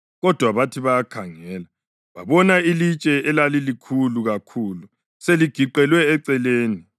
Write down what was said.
Kodwa bathi bayakhangela babona ilitshe, elalilikhulu kakhulu, seligiqelwe eceleni.